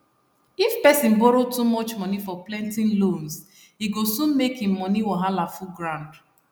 if person borrow too much money for plenty loans e go soon make im money wahala full ground